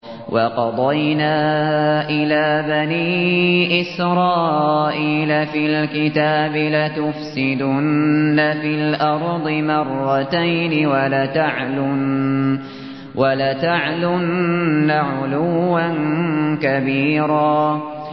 وَقَضَيْنَا إِلَىٰ بَنِي إِسْرَائِيلَ فِي الْكِتَابِ لَتُفْسِدُنَّ فِي الْأَرْضِ مَرَّتَيْنِ وَلَتَعْلُنَّ عُلُوًّا كَبِيرًا